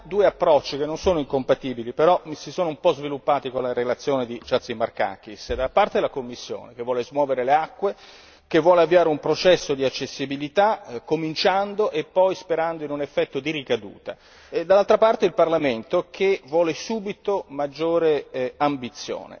Abbiamo due approcci che non sono incompatibili e che si sono un po' sviluppati con la relazione di Chatzimarkakis da una parte la Commissione, che vuole smuovere le acque e vuole avviare un processo di accessibilità cominciando e poi sperando in un effetto di ricaduta, e dall'altra parte il Parlamento, che vuole subito una maggiore ambizione.